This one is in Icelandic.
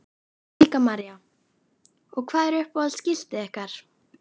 Helga María: Og hvað er uppáhalds skiltið ykkar?